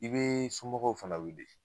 I be i somɔgɔw fana wele.